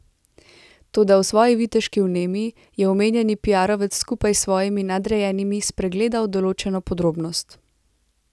Toda v svoji viteški vnemi je omenjeni piarovec skupaj s svojimi nadrejenimi spregledal določeno podrobnost.